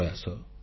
phone call